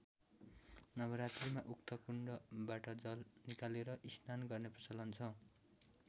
नवरात्रीमा उक्त कुण्डबाट जल निकालेर स्नान गर्ने प्रचलन छ।